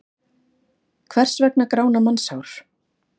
Hvers vegna grána mannshár?